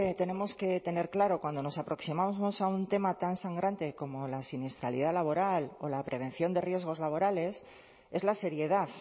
tenemos que tener claro cuando nos aproximamos a un tema tan sangrante como la siniestralidad laboral o la prevención de riesgos laborales es la seriedad